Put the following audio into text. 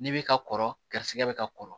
N'i bɛ ka kɔrɔ garisɛgɛ bɛ ka kɔrɔ